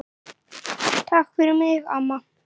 Takk fyrir mig, amma.